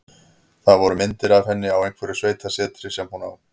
Það voru myndir af henni á einhverju sveitasetri sem hún á.